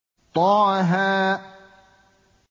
طه